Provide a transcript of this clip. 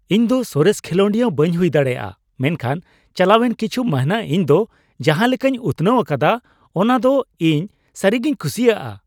ᱤᱧ ᱫᱚ ᱥᱚᱨᱮᱥ ᱠᱷᱮᱞᱳᱰᱤᱭᱟᱹ ᱵᱟᱹᱧ ᱦᱩᱭ ᱫᱟᱲᱮᱭᱟᱜᱼᱟ ᱢᱮᱱᱠᱷᱟᱱ ᱪᱟᱞᱟᱣᱮᱱ ᱠᱤᱪᱷᱩ ᱢᱟᱹᱱᱦᱟᱹ ᱤᱧ ᱫᱚ ᱡᱟᱦᱟ ᱞᱮᱠᱟᱧ ᱩᱛᱷᱱᱟᱹᱣ ᱟᱠᱟᱫᱟ ᱚᱱᱟ ᱫᱚ ᱤᱧ ᱥᱟᱹᱨᱤᱜᱮᱧ ᱠᱩᱥᱤᱭᱟᱜᱼᱟ ᱾